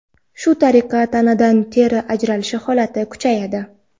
Shu tariqa, tanadan teri ajralishi holati kuchayadi.